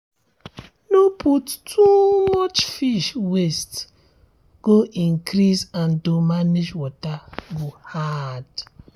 no put too much fish waste go increase and to manage water go hard